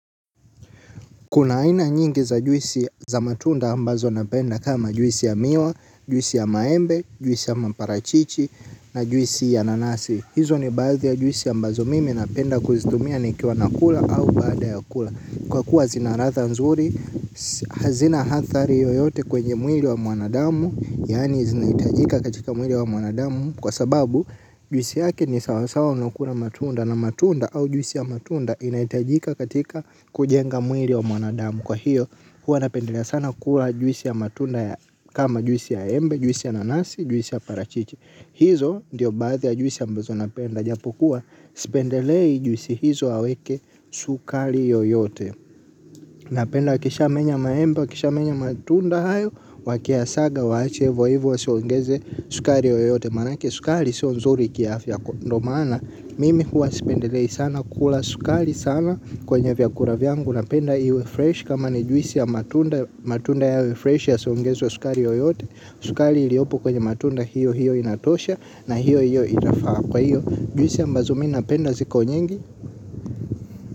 Kuna aina nyingi za juisi za matunda ambazo napenda kama juisi ya miwa, juisi ya maembe, juisi ya maparachichi na juisi ya nanasi. Hizo ni baadhi ya juisi ambazo mimi napenda kuzitumia nikiwa nakula au baada ya kula. Kwa kuwa zinaladha nzuri, hazina athari yoyote kwenye mwili wa mwanadamu, yani zinahitajika katika mwili wa mwanadamu. Kwa sababu, juisi yake ni sawasawa na kula matunda na matunda au juisi ya matunda inahitajika katika kujenga mwili wa mwanadamu. Kwa hiyo, huwa napendelea sana kula juisi ya matunda kama juisi ya embe, juisi ya nanasi, juisi ya parachichi. Hizo ndiyo baadhi ya juisi ambazo napenda. Japokuwa, sipendelei juisi hizo aweke sukari yoyote. Napenda akishamenya maembe, wakishamenya matunda hayo wakiyasaga waache hivyo hivyo wasiongeze sukari yoyote maana yake sukari sio nzuri kiafya ndiyo maana mimi huwa sipendelei sana kula sukari sana kwenye vyakula vyangu napenda iwe fresh kama ni juisi ya matunda yawe fresh yasiongezwe sukari yoyote sukari iliyopokwenye matunda hiyo hiyo inatosha na hiyo hiyo inafaa kwa hiyo juisi ambazo mimi napenda ziko nyingi.